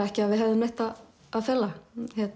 ekki að við hefðum neitt að fela